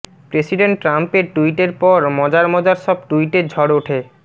president ট্রাম্পের টুইটের পর মজার মজার সব টুইটের ঝড় ওঠে